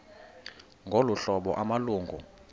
ngolu hlobo amalungu